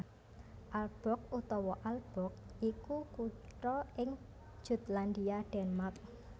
Aalborg utawa Ålborg iku kutha ing Jutlandia Denmark